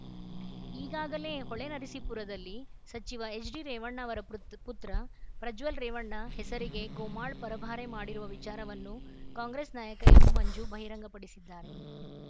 ಈಗಾಗಲೇ ಹೊಳೆನರಸೀಪುರದಲ್ಲಿ ಸಚಿವ ಎಚ್‌ಡಿರೇವಣ್ಣ ಅವರ ಪುತ್ ಪುತ್ರ ಪ್ರಜ್ವಲ್‌ ರೇವಣ್ಣ ಹೆಸರಿಗೆ ಗೋಮಾಳ ಪರಭಾರೆ ಮಾಡಿರುವ ವಿಚಾರವನ್ನು ಕಾಂಗ್ರೆಸ್‌ ನಾಯಕ ಎಂ ಮಂಜು ಬಹಿರಂಗಪಡಿಸಿದ್ದಾರೆ